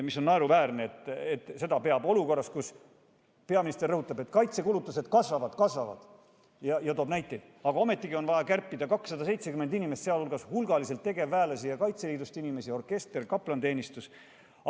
See on naeruväärne, et olukorras, kus peaminister rõhutab, et kaitsekulutused kasvavad, ja toob näiteid, on ometigi vaja kärpida 270 inimest, sealhulgas hulgaliselt tegevväelasi ja Kaitseliidu inimesi, kaotada orkester ja kaplaniteenistus.